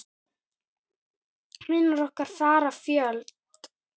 Vinir okkar fara fjöld.